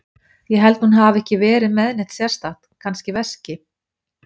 Ég held hún hafi ekki verið með neitt sérstakt, kannski veski.